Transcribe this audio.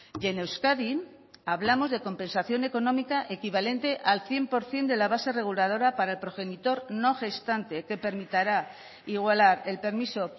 y en euskadi hablamos de compensación económica equivalente al cien por ciento de la base reguladora para el progenitor no gestante que permitirá igualar el permiso